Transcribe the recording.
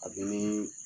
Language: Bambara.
A bɛ ni